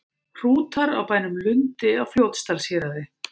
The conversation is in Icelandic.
Hrútar á bænum Lundi á Fljótsdalshéraði.